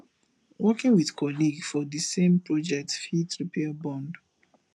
working with colleague for di same project fit repair bond